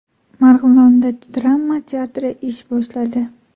Marg‘ilonda drama teatri ish boshladi .